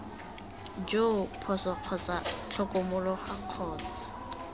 joo phoso kgotsa tlhokomologo kgotsa